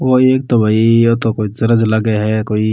ओ एक तो भाई ओ तो कोई चर्च लागे है कोई।